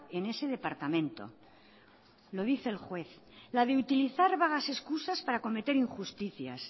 en ese departamento lo dice el juez la de utilizar vagas excusas para cometer injusticias